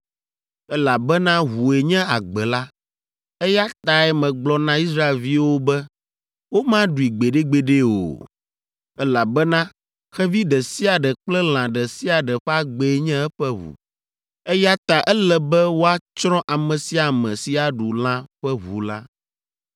elabena ʋue nye agbe la, eya tae megblɔ na Israelviwo be womaɖui gbeɖegbeɖe o, elabena xevi ɖe sia ɖe kple lã ɖe sia ɖe ƒe agbee nye eƒe ʋu, eya ta ele be woatsrɔ̃ ame sia ame si aɖu lã ƒe ʋu la.